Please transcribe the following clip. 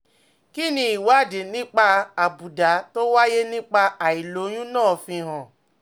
Kí ni ìwádìí nípa àbùdá tó wáyé nípa àìlóyún náà fi hàn?